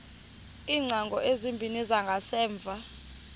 iingcango ezimbini zangasemva